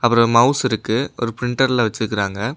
ஒரு மவுஸ் இருக்கு. ஒரு பிரிண்டர்ல வச்சிருக்காங்க.